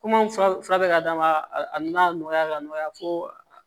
Komi an fura bɛ ka d'a ma a nana nɔgɔya ka nɔgɔya fo